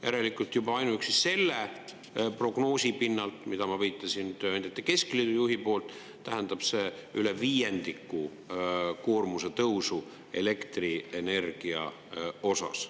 Järelikult juba ainuüksi selle prognoosi pinnalt, mida ma viitasin tööandjate keskliidu juhi poolt, tähendab see üle viiendiku koormuse tõusu elektrienergia osas.